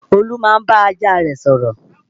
Olú máa ń bá ajá rẹ̀ sọ̀rọ̀